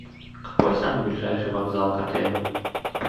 какой самый ближайший вокзал к отелю